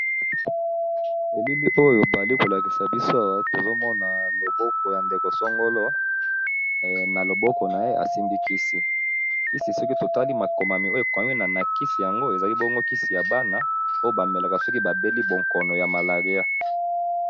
Elili oyo bazali kolakisa biso awa tozomona loboko ya ndeko songolo asimbi kisi eza kisi ya bana oyo bamelaka soki ba beli bokono ya malaria.